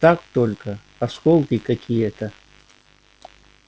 так только осколки какие-то